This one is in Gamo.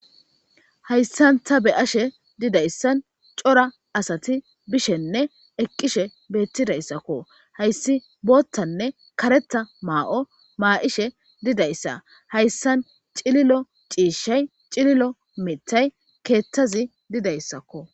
Hayisan ta be'ashe dizayisan coora asati bishenee eqishe betizaysako hays bothanee karetha Mayo ma'ishe dizaysa haysan cililo cishay cililo mithay kethazi dizaysako